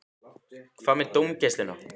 Hvað með dómgæsluna?